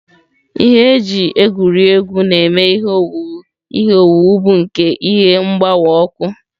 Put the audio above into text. Ihe e ji egwuri egwu na-eme ihe owuwu ihe owuwu bụ nke ihe mgbawa ọkụ.